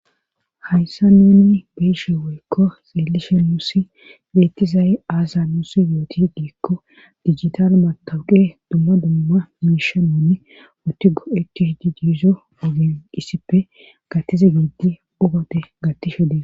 hayssa nunni beeshe woykko xeelishe nuussi geettizayy aasa nuusi yooti diikko digital matawuqe dumma dumma miisha mooni utigo etti hidi diizo ogenqissippe gattize giiddi ugote gattishe dee